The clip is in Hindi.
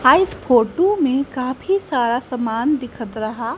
हा इस फोटू में काफी सारा समान दिख रहा--